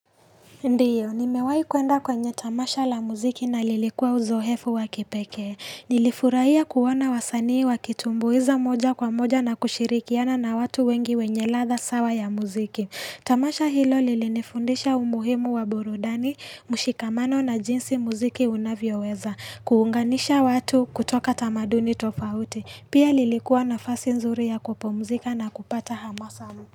Ndio, nimewahi kuenda kwenye tamasha la muziki na lilikuwa uzoefu wa kipekee. Nilifurahia kuona wasanii wakitumbuiza moja kwa moja na kushirikiana na watu wengi wenye ladha sawa ya muziki. Tamasha hilo lilinifundisha umuhimu wa burudani, mushikamano na jinsi muziki unavyoweza. Kuunganisha watu kutoka tamaduni tofauti. Pia lilikuwa nafasi nzuri ya kupumzika na kupata hamasa.